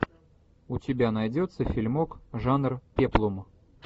у тебя найдется фильмок жанр пеплум